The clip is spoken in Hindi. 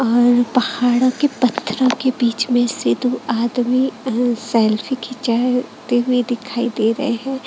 और पहाड़ों के पत्थरों के बीच में से दो आदमी अह सेल्फी खिंचाए ते हुए दिखाई दे रहे हैं।